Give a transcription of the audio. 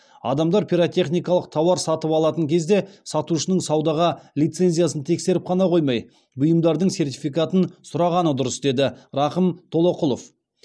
адамдар пиротехникалық тауар сатып алатын кезде сатушының саудаға лицензиясын тексеріп қана қоймай бұйымдардың сертификатын сұрағаны дұрыс деді рақым толоқұлов